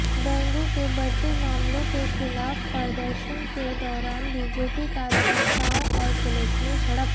dengue के बढ़ते मामलों के खिलाफ प्रदर्शन के दौरान बीजेपी कार्यकर्ताओं और पुलिस में झड़प